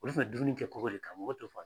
Olu kun bɛ dumuni kɛ kogo de kan mɔgɔ to f'an ye